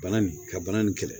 Bana nin ka bana nin kɛlɛ